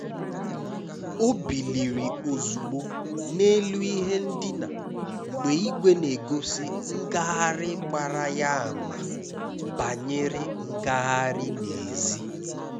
Ọ bìlìrì ozùgbò n’élù ihe ndina mgbe ìgwè n’egosi ngagharị gbara ya ama banyere ngagharị n’èzí.